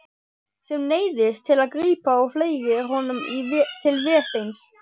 Sem neyðist til að grípa og fleygir honum til Vésteins.